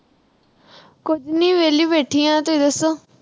ਕੁਛ ਨੀ ਵਿਹਲੀ ਬੈਠੀ ਆ ਤੁਹੀ ਦੱਸੋ